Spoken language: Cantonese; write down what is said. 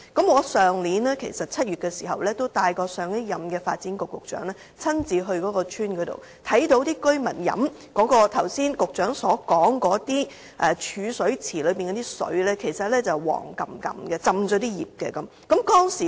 去年7月，我帶同上任發展局局長親自到該村，看到居民飲用局長剛才說的儲水池內的水，那些水其實帶暗黃色，而且浸泡了樹葉。